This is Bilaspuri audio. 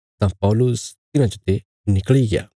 तां पौलुस तिन्हां चते निकल़ी गया